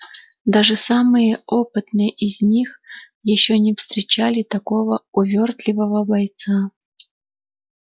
даже самые опытные из них ещё не встречали такого увёртливого бойца